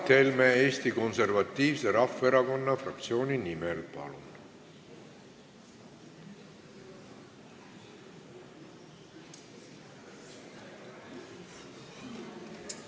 Mart Helme Eesti Konservatiivse Rahvaerakonna fraktsiooni nimel, palun!